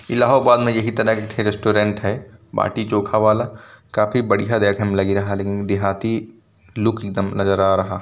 । इलाहाबाद मे यही तरह एक ठे रेस्टोरेंट है। बाटी चोखा वाला काफी बढ़िया देखने मे लग रहा लेकिन देहाती लुक एक दम नजर आ रहा है।